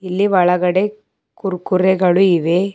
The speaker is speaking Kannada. ಇಲ್ಲಿ ಒಳಗಡೆ ಕುರ್ಕುರೆ ಗಳು ಇವೆ.